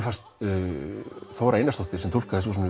fannst Þóra Einarsdóttir sem túlkaði